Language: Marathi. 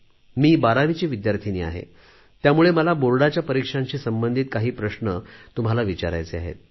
मी बारावीची विद्यार्थिनी आहे त्यामुळे मला बोर्डाच्या परीक्षांशी संबंधित काही प्रश्न तुम्हाला विचारायचे आहेत